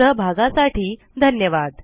सहभागासाठी धन्यवाद